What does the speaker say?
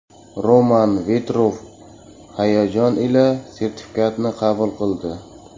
Roman Vetrov hayojon ila sertifikatni qabul qildi.